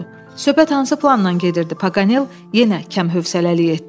Söhbət hansı plandan gedirdi, Paqanel yenə kəmhəvəsəlik etdi.